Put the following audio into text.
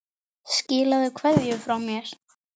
Skilaðu kveðju frá mér.